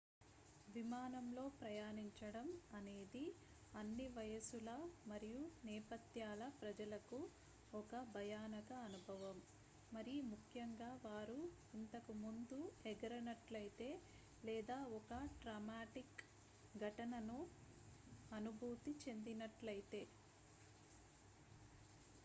విమానంలో ప్రయాణించడం అనేది అన్ని వయస్సుల మరియు నేపథ్యాల ప్రజలకు ఒక భయానక అనుభవం మరిముఖ్యంగా వారు ఇంతకు ముందు ఎగరనట్లయితే లేదా ఒక ట్రామాటిక్ ఘటనను అనుభూతి చెందనట్లయితే